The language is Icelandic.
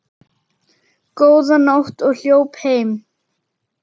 Góða nótt og hljóp heim.